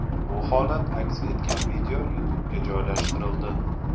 Bu holat aks etgan video YouTube’ga joylashtirildi.